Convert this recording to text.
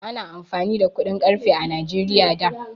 Ana amfani da kuɗin ƙarfe a Najeriya da.